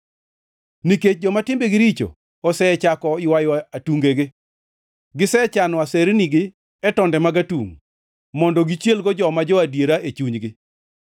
Nikech joma timbegi richo osechako ywayo atungegi; gisechano asernigi e tonde mag atungʼ, mondo gichielgo joma jo-adiera e chunygi.